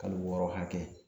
Kalo wɔɔrɔ hakɛ